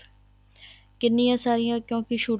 ਕਿੰਨੀਆਂ ਸਾਰੀਆਂ ਕਿਉਂਕਿ